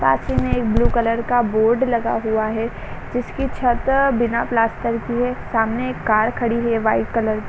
साथ ही में एक ब्लू कलर का बोर्ड लगा हुआ है जिसकी छत बिना प्लास्टर की है सामने एक कार खड़ी हुई है वाइट कलर की--